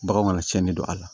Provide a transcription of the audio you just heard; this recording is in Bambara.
Bagan mana cɛnni don a la